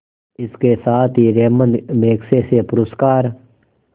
इसके साथ ही रैमन मैग्सेसे पुरस्कार